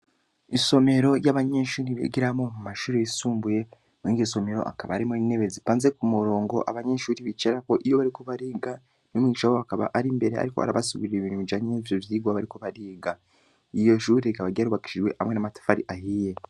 Isomero ry’abanyeshure bigiramwo mumashure yisumbuye, Kandi iryo somero hakaba harimw’intebe zitonze kumurongo abanyeshure bicarako iyo bariko bariga, umwigisha wabo akaba ar’imbere arikw’arabasigurira ibintu bijanye nivyo vyigwa bariko bariga. Iryo shure rikaba ryarubakishijwe hamwe n’amatafari ahiye.